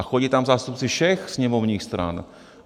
A chodí tam zástupci všech sněmovních stran.